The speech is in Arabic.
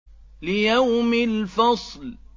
لِيَوْمِ الْفَصْلِ